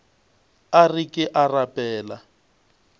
a re ke a rapela